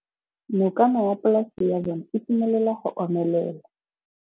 Nokana ya polase ya bona, e simolola go omelela.